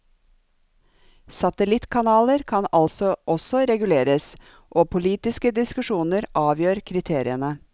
Satellittkanaler kan altså også reguleres, og politiske diskusjoner avgjør kriteriene.